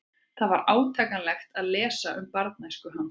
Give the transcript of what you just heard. Það var átakanlegt að lesa um barnæsku hans.